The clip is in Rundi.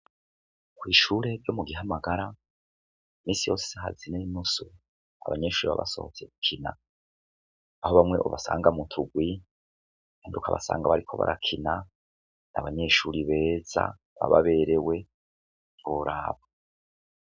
Kw'ishure ryo mu gihamagara misi yoe hazineinuso abanyeshuri babasohotse gukina aho bamwe ubasanga mutugwi induka abasanga bariko barakina n' abanyeshuri beza bababerewe turabo.